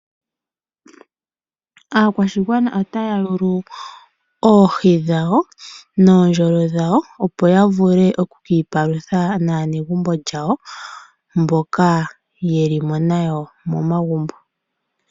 Aakwashigwana otaya yulu oohi dhawo noondjolo opo ya vule okukiipalutha naanegumbo yawo mboka ye limo nayo momagumbo.